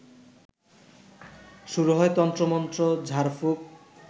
শুরু হয় তন্ত্রমন্ত্র, ঝাড়ফুঁক